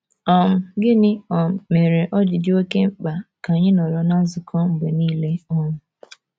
um Gịnị um mere o ji dị oké mkpa ka anyị nọrọ ná nzukọ mgbe nile um?